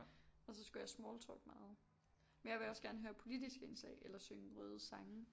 Og så skulle jeg smalltalke meget men jeg vil også gerne høre politiske indslag eller synge røde sange